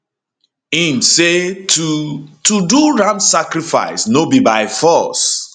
im say to to do ram sacrifice no be by force